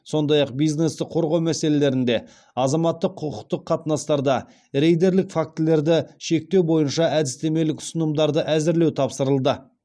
сондай ақ бизнесті қорғау мәселелерінде азаматтық құқықтық қатынастарда рейдерлік фактілерді шектеу бойынша әдістемелік ұсынымдарды әзірлеу тапсырылды